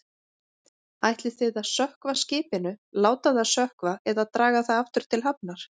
Ætlið þið að sökkva skipinu, láta það sökkva eða draga það aftur til hafnar?